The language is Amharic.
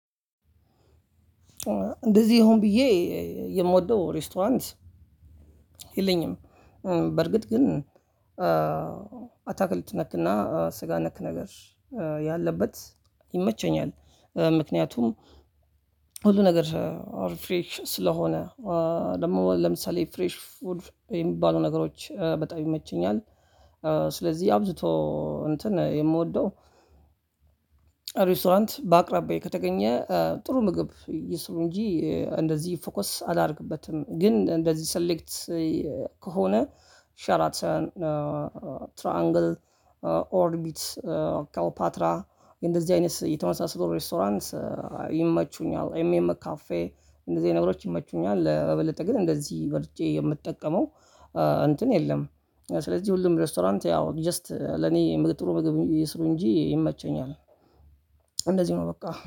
እንደዚህ ሆን ብዬ የምወደው ሬስቶራንት የለኝም። በርግጥ ግን አታክልት ነክና ስጋ ነክ ነገር ያለበት ይመቸኛል። ምክንያቱም ሁሉ ነገር አርፍሬሽ ስለሆነ ደግሞ ለምሳሌ ፍሬሽ ፉድ የሚባሉ ነገሮች በጣም ይመቸኛል። ስለዚህ አብዝቶ እንትን የምወደው ሬስቶራንት በአቅራቢያዬ ከተገኘ ጥሩ ምግብ ይስሩ እንጂ እንደዚህ ፎከስ አላደርግበትም ግን እንደዚህ ሰሌክት ከሆነ ሸራተን ትሪአንግል ኦርቢት ካው ፓትራ እንደዚህ አይነት የተመሳሰሉ ሬስቶራንት ይመቹኛል። ኤምኤም ካፌ እንደዚህ ነገሮች ይመቹኛል በበለጠ ግን እንደዚህ መርጬ የምጠቀመው እንትን የለም። ስለዚህ ሁሉም ሬስቶራንት ያው ጀስት ለኔ ጥሩ ምግብ ይስሩ እንጂ ይመቸኛል። እንደዚህ ነው በቃ